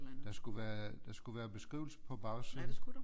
Der skulle være der skulle være beskrivelse på bagsiden